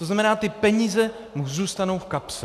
To znamená, ty peníze mu zůstanou v kapse.